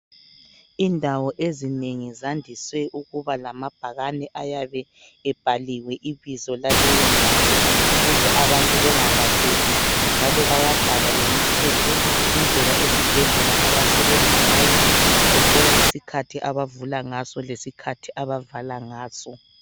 Indawo ezinengi zandise ukuba lamabhakani ayabe ebhaliwe kuleyo ndawo ukuze abantu bengalahleki njalo bayabhala lemithetho indlela isibhedlela abasebenza ngayo kugoqela isikhathi abavula ngaso lesikhathi abavala ngaso